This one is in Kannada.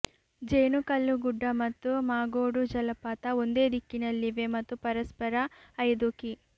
ಜೇನುಕಲ್ಲು ಗುಡ್ಡ ಮತ್ತು ಮಾಗೋಡು ಜಲಪಾತ ಒಂದೇ ದಿಕ್ಕಿನಲ್ಲಿವೆ ಮತ್ತು ಪರಸ್ಪರ ಐದು ಕಿ